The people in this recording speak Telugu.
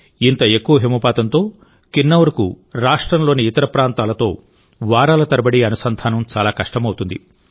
ఇంత ఎక్కువ హిమపాతంతోకిన్నౌర్ కు రాష్ట్రంలోని ఇతర ప్రాంతాలతో వారాల తరబడి అనుసంధానం చాలా కష్టమవుతుంది